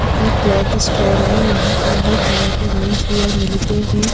ये एक cloth store है यहां पे हर तरह के मेंस वेयर मिलते हैं।